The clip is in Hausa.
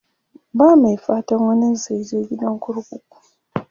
ba Mai fatan waninsa yaje gidan kurkuku